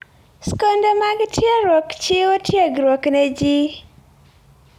Skunde mag tiegruok chiwo tiegruok ne ji.